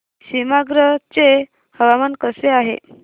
सीमांध्र चे हवामान कसे आहे